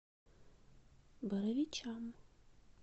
боровичам